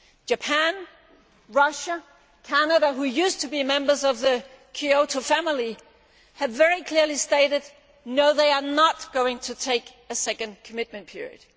Japan, Russia, Canada, who used to be members of the Kyoto family, have very clearly stated that they are not going to take a second commitment period.